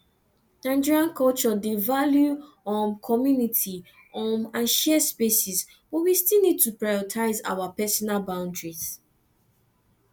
nigerian culture dey value um community um and share spaces but we still need to prioritize our personal boundaries